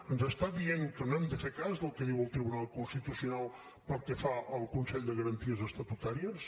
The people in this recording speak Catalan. ens està dient que no hem de fer cas del que diu el tribunal constitucional pel que fa al consell de garanties estatutàries